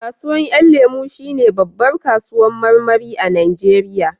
Kasuwan 'yan lemo shi ne babbar kasuwan marmari a najeriya